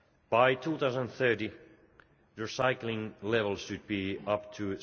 By 2030, recycling levels should be